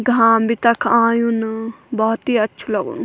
घाम भी तख आयुन बहौत ही अच्छु लगणु।